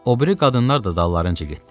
O biri qadınlar da dallarınca getdilər.